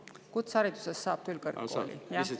Pärast kutseharidust saab küll kõrgkooli.